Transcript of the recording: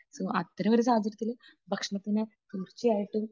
അത്തരമൊരു സാഹചര്യത്തിൽ ഭക്ഷണത്തിന് തീർച്ചയായിട്ടും